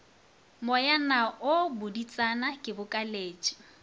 moyana wo botšiditšana ke bokaletše